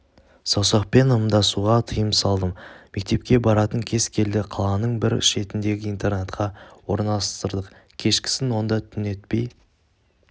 саусақпен ымдасуға тыйым салдым мектепке баратын кез келді қаланың бір шетіндегі интернатқа орналастырдық кешкісін онда түнетпей